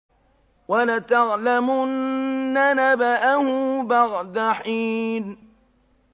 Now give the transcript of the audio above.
وَلَتَعْلَمُنَّ نَبَأَهُ بَعْدَ حِينٍ